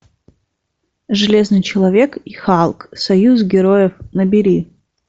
железный человек и халк союз героев набери